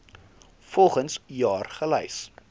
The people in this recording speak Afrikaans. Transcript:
volgens jaar gelys